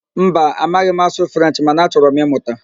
Mba, amaghị m asụ Frenchị mana achọrọ m ịmụta